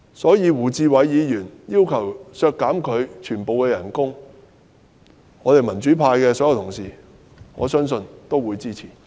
對於胡志偉議員提出削減她全年預算薪酬開支的要求，我相信民主派所有議員皆會支持。